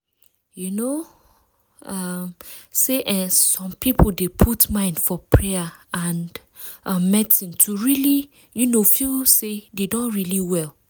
you know um say eeh some people dey put mind for payer and um medicine to really um feel say dem don really well.